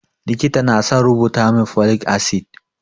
Likita na son rubuta min folic acid